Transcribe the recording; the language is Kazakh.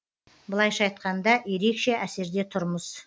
былайша айтқанда ерекше әсерде тұрмыз